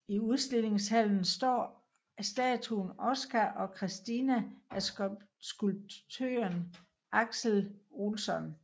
I udstillingshallen står statuen Oskar och Kristina af skulptøren Axel Olsson